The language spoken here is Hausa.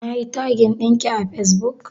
Nayi tagin ɗinki a fesbuk?